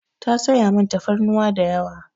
Ta sayi min tafarnuwa da yawa.